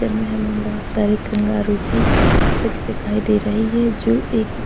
हमे बहुत सारे कंगारू की पिक दिखाई दे रही है जो एक--